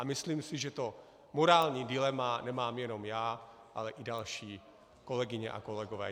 A myslím si, že to morální dilema nemám jenom já, ale i další kolegyně a kolegové.